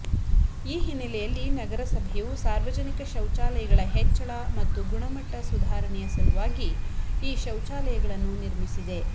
ಈ ಹಿನ್ನೆಲೆಯಲ್ಲಿ ನಗರಸಭೆಯು ಸಾರ್ವಜನಿಕ ಶೌಚಾಲಯಗಳ ಹೆಚ್ಚಳ ಮತ್ತು ಗುಣಮಟ್ಟ ಸುಧಾರಣೆಯ ಸಲುವಾಗಿ ಈ ಶೌಚಾಲಯಗಳನ್ನು ನಿರ್ಮಿಸಿದೆ